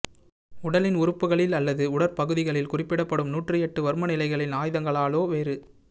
உடலின் உறுப்புகளில் அல்லது உடற்பகுதிகளில் குறிப்பிடப்படும் நூற்றியெட்டு வர்ம நிலைகளில் ஆயுதங்களாலோ வேறு